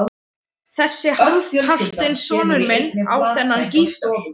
Þessi hálfpartinn sonur minn á þennan gítar.